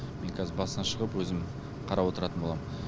мен қазір басына шығып өзім қарап отыратын боламын